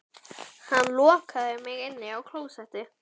Hann lokaði mig inni á klósetti